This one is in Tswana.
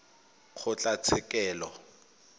kgotlatshekelo